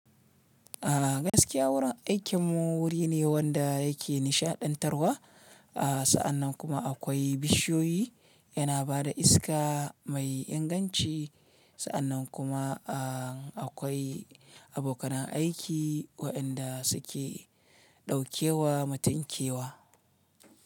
Gaskiya wurin aikin mu wuri ne wanda yake nishaɗantarwa, sa'annan kuma akwai bishiyoyi yana ba da iska mai inganci, sa'annan kuma akwai abokanan aiki waɗanda suke ɗaukewa matun kewa.